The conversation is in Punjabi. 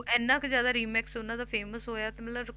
ਉਹ ਇੰਨਾ ਕੁ ਜ਼ਿਆਦਾ remix ਉਹਨਾਂ ਦਾ famous ਹੋਇਆ ਤੇ ਮਤਲਬ